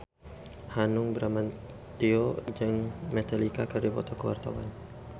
Hanung Bramantyo jeung Metallica keur dipoto ku wartawan